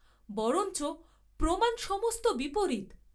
বরঞ্চ প্রমাণ সমস্ত বিপরীত।